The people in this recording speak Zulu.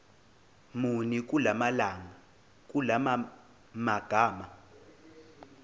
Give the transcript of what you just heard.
muni kula magama